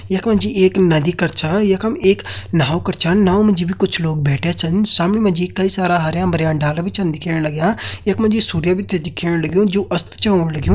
यख मा जी एक नदी कर छा यखम एक नाव कर छा नाव मा जी भी कुछ लोग बैठ्यां छन सामनि मा जी कई सारा हरयां भरयां डाला भी छन दिखेण लग्यां यख मा जी सूर्य भी छ दिखेण लग्युं जु अस्त छ होण लग्युं।